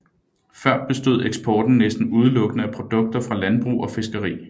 Før bestod eksporten næsten udelukkende af produkter fra landbrug og fiskeri